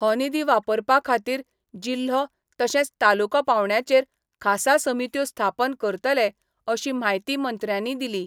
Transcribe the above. हो निधी वापरपा खातीर जिल्हो तशेंच तालुको पावंड्याचेर खासा समित्यो स्थापन करतले अशी म्हायती मंत्र्यांनी दिली.